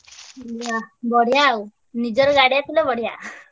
ହୁଁ ଯା ବଢିଆ ଆଉ ନିଜର ଗାଡିଆ ଥିଲେ ବଢିଆ।